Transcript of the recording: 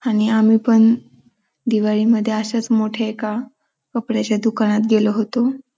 आणि आम्ही पण दिवाळीमध्ये अशाच मोठ्या एका कपड्याच्या दुकानात गेलो होतो.